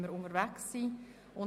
Ich bitte Sie um zwei Dinge;